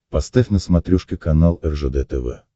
поставь на смотрешке канал ржд тв